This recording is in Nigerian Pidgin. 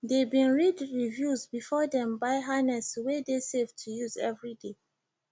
they been read reviews before them buy harness wey de safe to use everyday